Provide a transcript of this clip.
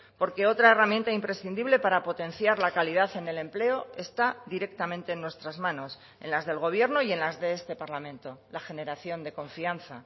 porque otra herramienta imprescindible para potenciar la calidad en el empleo está directamente en nuestras manos en las del gobierno y en las de este parlamento la generación de confianza